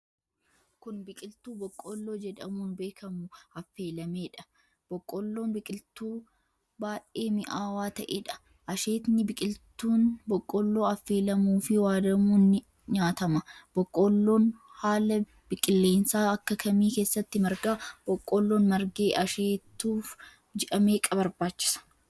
Kun, biqiltuu boqqoolloo jedhamuun beekamu affeelamee dha. Boqqoolloon biqiltuu baay'ee mi'aawaa ta'ee dha. Asheetni biqiltuun boqqoolloo affelamuu fi waadamuun ni nyaatama. Boqqoolloon, haala qilleensaa akka kamii keessatti marga? Boqqoolloon margee asheetuuf ji'a meeqa barbaachisa?